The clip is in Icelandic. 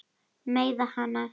Meiða hana.